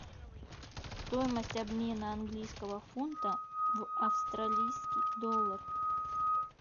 стоимость обмена английского фунта в австралийский доллар